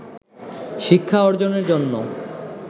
শিক্ষা অর্জনের জন্য